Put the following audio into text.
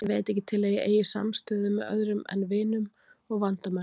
Ég veit ekki til að ég eigi samstöðu með öðrum en vinum og vandamönnum.